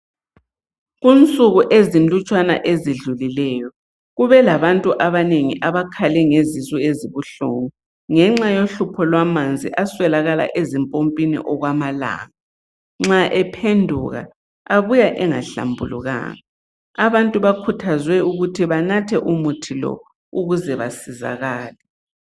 Kunsuku ezinlutshwana ezidlulileyo kubelabantu abanengi abakhale ngezisu ezibuhlungu ngenxa yohlupho lwamanzi aswelakala ezimpompini okwamalanga. Nxa ephenduka abuya engahlambulukanga. Abantu bakhuthazwe ukuthi banathe umuthi lo ukuze basizakale.